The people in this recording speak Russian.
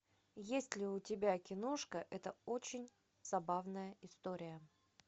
есть ли у тебя киношка это очень забавная история